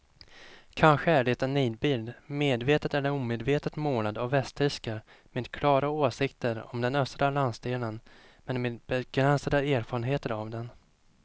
Kanske är det en nidbild medvetet eller omedvetet målad av västtyskar med klara åsikter om den östra landsdelen men med begränsade erfarenheter av den.